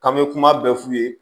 K'an bɛ kuma bɛɛ f'u ye